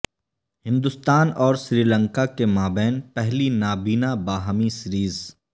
ہندوستان اور سری لنکا کے مابین پہلی نابینا باہمی سیریز